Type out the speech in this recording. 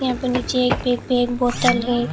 यहां पे नीचे एक बैग पे एक बोतल है।